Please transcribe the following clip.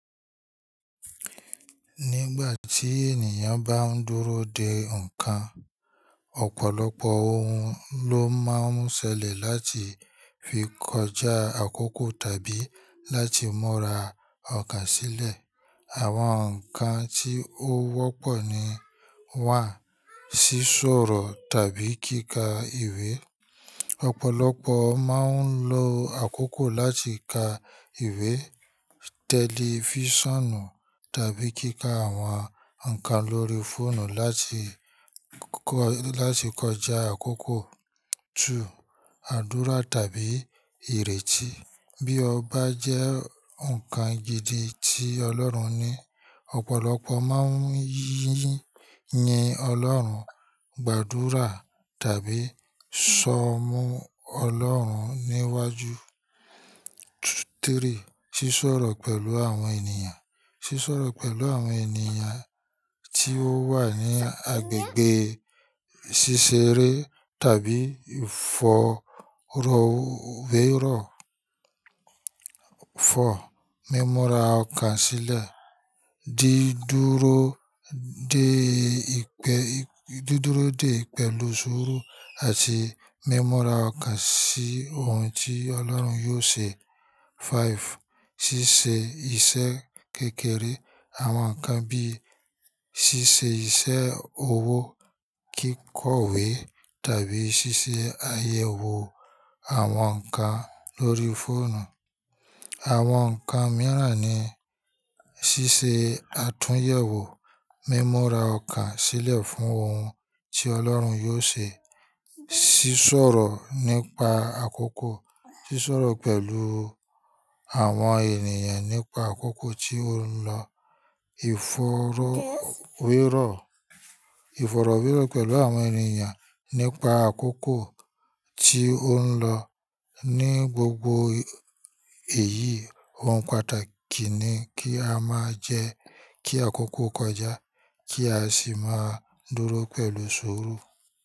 Nígbà tí ènìyàn bá ń dúró de ǹkan, ọ̀pọ̀lọpọ̀ ohun ló máa ń ṣẹlẹ̀ láti fi kọjá àkókò tàbí láti múra ọkàn sílẹ̀. Àwọn nnkan ti o wọpọ wá sí soro tàbí kíkà ìwé. Ọ̀pọ̀lọpọ̀ máa ń lo àkókò láti ka ìwé, tẹlifíṣànù tàbí kíkà àwọn ǹkan lórí fóònù láti kọjá àkókò. Àdúrà tàbí ìrètí. Bí ọ bá jẹ́ ǹkan gidi tí Ọlọ́run ní, ọ̀pọ̀lọpọ̀ máa ń yín Ọlọ́run, gbàdúrà tàbí sọ mú Ọlọ́run níwájú. Ṣíṣọ̀rọ̀ pẹ̀lú àwọn ènìyàn. Ṣíṣọ̀rọ̀ pẹ̀lú àwọn ènìyàn tí ó wà ní agbègbè ṣíṣeré tàbí ìfọ̀rọ̀wérọ̀. Mímura ọkàn sílẹ̀. Dídúró dé pẹ̀lú sùúrù àti mímura ọkàn sí ohun tí Ọlọ́run yóò ṣe. Ṣíṣe iṣẹ́ kékeré. Àwọn ǹkan bí i ṣíṣe iṣẹ́ owó, kíkọ ìwé tàbí ṣíṣe àyẹ̀wò àwọn ǹkan lórí fóònù. Àwọn ǹkan mìíràn ni ṣíṣe àtúnyẹ̀wò, mímura ọkàn sílẹ̀ fún ohun tí Ọlọ́run yóò ṣe, ṣíṣọ̀rọ̀ nípa àkókò, ṣíṣọ̀rọ̀ pẹ̀lú àwọn ènìyàn nípa àkókò tí ó ń lọ, ìfọ̀rọ̀wérọ̀ pẹ̀lú àwọn ènìyàn nípa àkókò tí ó ń lọ. Ní gbogbo èyí òun pàtàkì nì kí má jẹ kí àkókò kọjá kí a sì máa dúró pẹ̀lú sú rú.